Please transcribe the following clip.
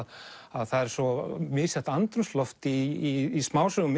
það er svo misjafnt andrúmsloft í smásögum